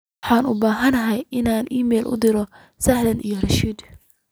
waxaan u baahanahay inaan iimayl u diro selina iyo rashid